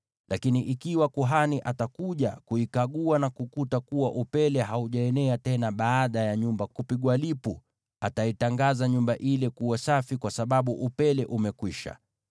“Lakini ikiwa kuhani atakuja kuikagua na kukuta kuwa upele haujaenea tena baada ya nyumba kupigwa lipu, ataitangaza nyumba ile kuwa safi, kwa sababu upele umekwisha.